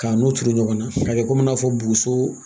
K'a n'u turu ɲɔgɔn na a bɛ komi i n'a fɔ boso